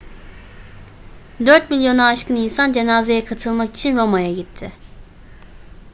dört milyonu aşkın insan cenazeye katılmak için roma'ya gitti